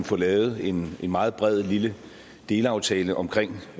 få lavet en meget bred lille delaftale omkring